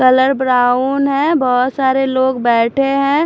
Colour brown है बहुत सारे लोग बैठे हैं।